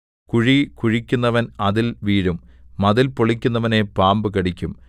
കുഴി കുഴിക്കുന്നവൻ അതിൽ വീഴും മതിൽ പൊളിക്കുന്നവനെ പാമ്പു കടിക്കും